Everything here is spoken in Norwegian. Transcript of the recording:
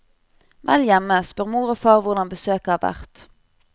Vel hjemme spør mor og far hvordan besøket har vært.